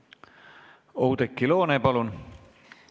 Oudekki Loone, palun!